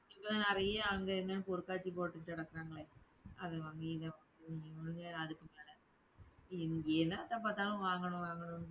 இப்ப தான் நிறைய அங்க, இங்கன்னு பொருட்காட்சி போட்டுட்டு கிடக்குறாங்களே. அத வாங்கு இத வாங்குனு அஹ் இவனுங்க வேற அதுக்கு மேல இவிங்க என்னத்த பாத்தாலும் வாங்கணும் வாங்கணும்னு